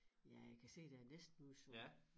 Ja jeg kan se der næsten udsolgt